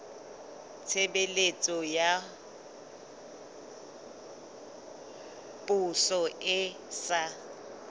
tshebeletso ya poso e sa